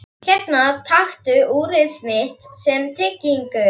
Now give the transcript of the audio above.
Hérna, taktu úrið mitt sem tryggingu.